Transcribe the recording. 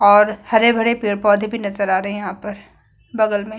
और हरे-भरे पेड़-पौधे भी नजर आ रहे है यहाँ पर बगल में --